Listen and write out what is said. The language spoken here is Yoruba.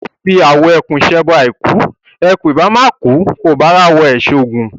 O fi awọ ẹkùn ṣẹbọ àìkú; ẹkùn ìbá má kùú, ìwọ ò bá ráwọ ẹ̀ ṣoògùn?